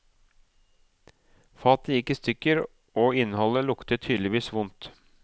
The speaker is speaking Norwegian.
Fatet gikk i stykker, og innholdet luktet tydeligvis vondt.